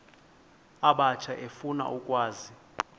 abatsha efuna ukwazi